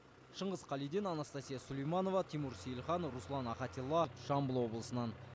шыңғыс қалиден анастасия сулейманова тимур сейлхан руслан ахатилла жамбыл облысынан